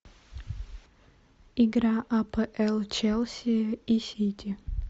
игра апл челси и сити